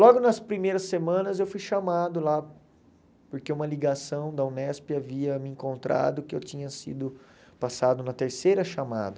Logo nas primeiras semanas eu fui chamado lá, porque uma ligação da Unesp havia me encontrado que eu tinha sido passado na terceira chamada.